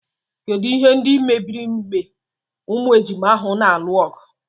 Kedụ ihe ndị mebiri mgbe ụmụ ejima ahụ na-alụ ọgụ.